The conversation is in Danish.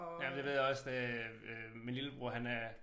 Ja det ved jeg også det øh min lillebror han er